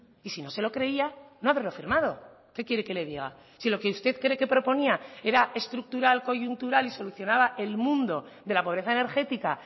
y si no se lo creía no haberlo firmado qué quiere que le diga si lo que usted cree que proponía era estructural coyuntural y solucionaba el mundo de la pobreza energética